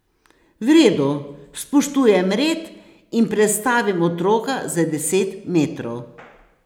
V redu, spoštujem red in prestavim otroka za deset metrov.